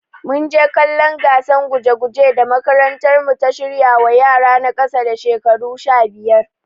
Munje kallon gatsan guje guje da makarantar mu ta shirwa wa yara na kasa da shekaru sha biyar